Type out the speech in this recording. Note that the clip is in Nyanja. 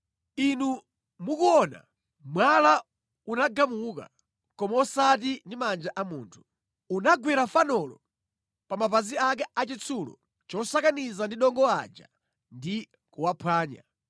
Inu mukuona, mwala unagamuka, koma osati ndi manja a munthu. Unagwera fanolo pa mapazi ake achitsulo chosakaniza ndi dongo aja ndi kuwaphwanya.